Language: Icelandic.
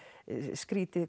skrítið